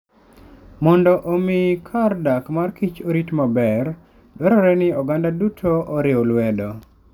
Mondo omi omi kar dak mar kich orit maber, dwarore ni oganda duto oriw lwedo.